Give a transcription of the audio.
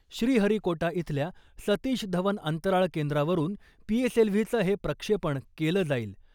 श्रीहरीकोटा इथल्या सतीश धवन अंतराळ केंद्रावरुन पीएसएलव्हीचं हे प्रक्षेपण केलं जाईल .